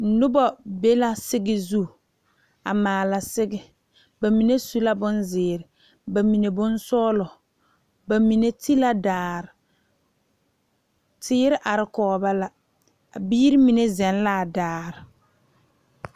Noba be la sige zu a maale sige bamine su la bonziiri bamine sɔglɔ bamine te la daare teere are kɔŋ ba la a biiri mine zagle la daare.